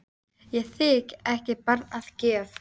Fræðirit á veggnum gegnt okkur sagði hann.